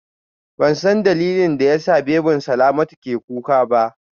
Bansan dalilin da yasa babyn Salamatu ke kuka ba